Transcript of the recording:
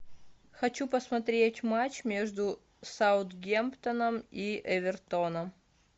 хочу посмотреть матч между саутгемптоном и эвертоном